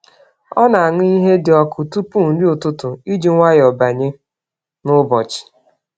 Ọ na-aṅụ ihe dị ọkụ tupu nri ụtụtụ iji nwayọọ banye n’ụbọchị.